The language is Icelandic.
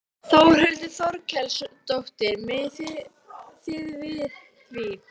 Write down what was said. Þórhildur Þorkelsdóttir: Megið þið við því?